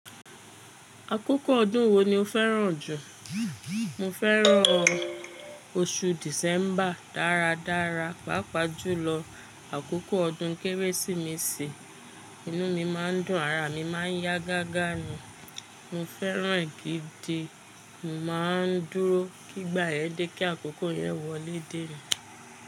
Akókò ọdún wo ni o fẹ́ràn jù? Mo fẹ́ràn oṣù December dáradára, pàápàá jùlọ àkókò ọdún Kérésìmesì. Inú mi má a n dùn, ara mi máa n yá gágá ni, mo fẹ́ràn e gidi. Mo ma n dúró kí ìgbà yẹn dé, kí àkókò yẹn wọlé dé ni.